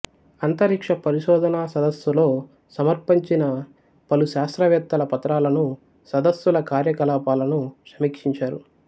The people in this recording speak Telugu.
అంతరిక్ష పరిశోధనా సదస్సులో సమర్పించిన పలు శాస్త్రవేత్తల పత్రాలను సదస్సుల కార్యకలాపాలను సమీక్షించారు